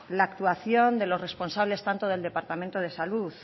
la actuación de los responsable tanto del departamento de salud